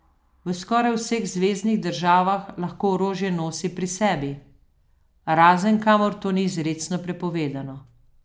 V skoraj vseh zveznih državah lahko orožje nosi pri sebi, razen kamor to ni izrecno prepovedano.